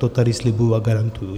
To tady slibuji a garantuji.